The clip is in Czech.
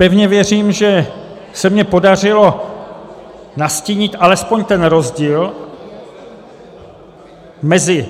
Pevně věřím, že se mi podařilo, nastínit alespoň ten rozdíl mezi